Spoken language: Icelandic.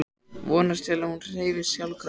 Vonast til að hún hreyfist sjálfkrafa.